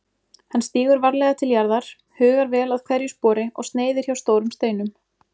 Hann stígur varlega til jarðar, hugar vel að hverju spori og sneiðir hjá stórum steinum.